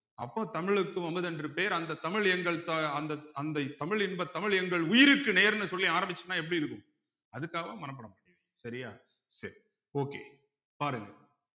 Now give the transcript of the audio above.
அப்போ தமிழுக்கு அமுது என்று பேர் அந்த தமிழ் எங்கள் தா அந்த அந்த தமிழ் இன்பத் தமிழ் எங்கள் உயிருக்கு நேர்னு சொல்லி ஆரம்பிச்சின்னா எப்படி இருக்கும் அதுக்காகவாது மனப்பாடம் பண்ணிருங்க சரியா சரி okay பாடுங்க